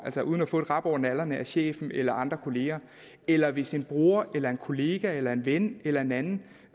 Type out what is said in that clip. det uden at få et rap over nallerne af chefen eller andre kollegaer eller hvis en bror eller en kollega eller en ven eller en anden